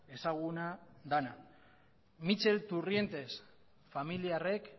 ezaguna dena mitxel turrientes familiarrek